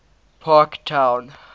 parktown